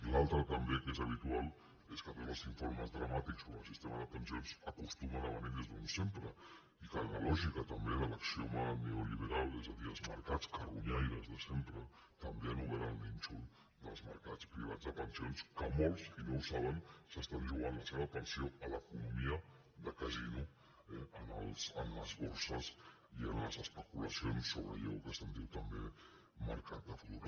l’altra també que és habitual és que tots els informes dramàtics sobre el sistema de pensions acostumen a venir des d’on sempre i que en la lògica també de l’axioma neoliberal és a dir els mercats carronyaires de sempre també han obert el nínxol dels mercats privats de pensions que molts i no ho saben s’estan jugant la seva pensió a l’economia de casino eh en les borses i en les especulacions sobre allò que se’n diu també mercat de futur